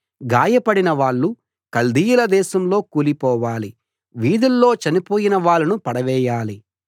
గాయపడిన వాళ్ళు కల్దీయుల దేశంలో కూలిపోవాలి వీధుల్లో చనిపోయిన వాళ్ళను పడవేయాలి